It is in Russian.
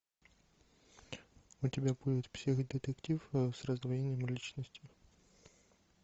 у тебя будет психо детектив с раздвоением личности